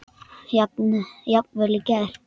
Jafnvel í gær.